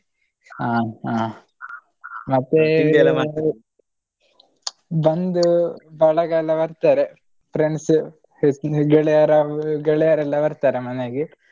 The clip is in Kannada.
ಹ ಹಾ ಮತ್ತೇ ಬಂಧು ಬಳಗ ಎಲ್ಲ ಬರ್ತಾರೆ friends ಸು ಗೆಳೆಯ ಗೆಳೆಯರೆಲ್ಲ ಬರ್ತಾರೆ ಮನೆಗೆ.